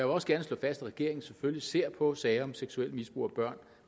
også gerne slå fast at regeringen selvfølgelig ser på sager om seksuelt misbrug af børn